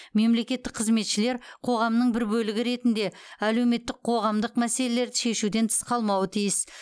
мемлекеттік қызметшілер қоғамның бір бөлігі ретінде әлеуметтік қоғамдық мәселелерді шешуден тыс қалмауы тиіс